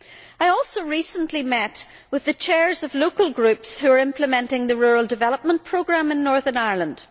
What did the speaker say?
I also recently met with the chairs of local groups who are implementing the rural development programme in Northern Ireland.